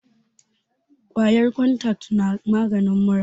kwayan kontak na maganin mura